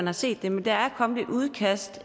har set det men der er kommet et udkast